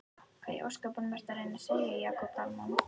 Hvað í ósköpunum ertu að reyna að segja, Jakob Dalmann?